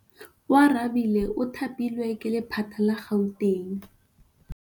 Oarabile o thapilwe ke lephata la Gauteng.